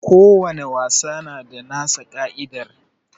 Ko wani wasa na da nasa ka'idar